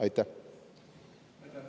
Aitäh!